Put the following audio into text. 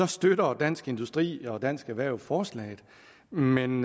støtter dansk industri og dansk erhverv forslaget men men